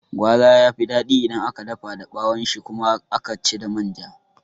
Gwaza yafi daɗi idan aka dafa da ɓawon shi kuma aka ci da manja